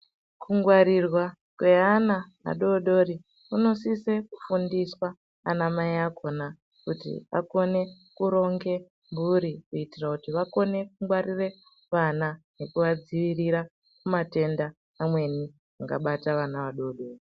Kungwarirwa kweana adodori kunosise kufundiswa anamai akona kuti vakone kuronge mhuri. Kuitira kuti vakone kungwarire vana kuvadzivirira kumatenda amweni angabata vana vadodori.